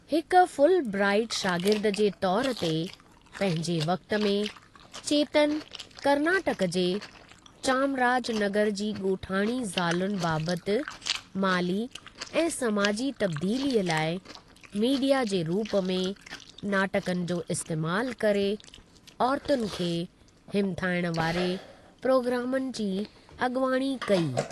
हिक फुलब्राइट शागिर्द जे तौरू ते पंहिंजे वक़्ति में, चेतन कर्नाटक जे चामराजनगर जी ॻोठाणी ज़ालुनि बाबति माली ऐं सामाजी तब्दीलीअ लाइ मीडिया जे रूप में नाटकनि जो इस्तेमालु करे औरतुनि खे हिमथाइण वारे प्रोग्रामनि जी अॻिवाणी कई।